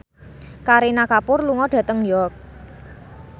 Kareena Kapoor lunga dhateng York